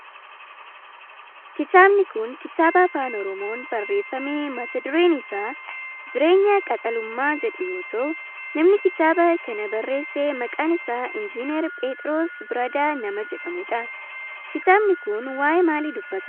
Kitaabni kun kitaaba afaan oromoon barreeffame mata dureen isaa Jireenya qaxalummaa jedhu yoo ta'u namni kitaaba kana barreesse maqaan isaa Injinar phexros Biradaa nama jedhamudha. Kitaabni kun waayee maalii dubbata?